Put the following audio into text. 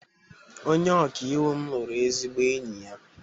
Onye ọkaiwu m lụrụ ezigbo enyi ya